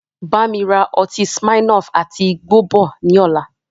Bámi ra ọtí smirnoff àti igbó bọ̀ ni ọ̀la